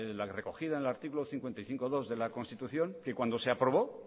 la recogida en el artículo cincuenta y cinco punto dos de la constitución que cuando se aprobó